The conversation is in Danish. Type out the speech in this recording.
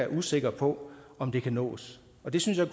usikre på om det kan nås og det synes jeg